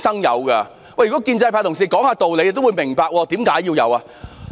如果建制派同事肯講理，他們也會明白為何要有規範。